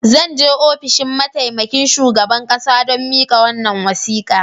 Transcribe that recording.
Zan je ofishin mataimakin shugaban kasa don mika wannan wasika.